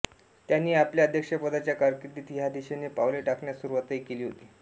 त्यांनी आपल्या अध्यक्षपदाच्या कारकीर्दीत ह्या दिशेने पावले टाकण्यास सुरूवातही केली होती